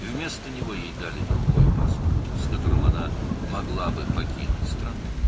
Onun əvəzinə ona başqa bir pasport verdilər ki, onunla da ölkəni tərk edə bilərdi.